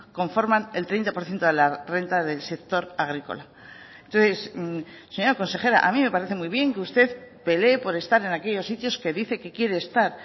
conforman el treinta por ciento de la renta del sector agrícola entonces señora consejera a mí me parece muy bien que usted pelee por estar en aquellos sitios que dice que quiere estar